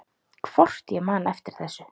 Hvort ég man eftir þessu.